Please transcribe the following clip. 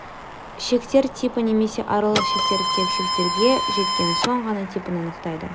шектер типі немесе аралық шектер тек шектерге жеткен соң ғана типін анықтайды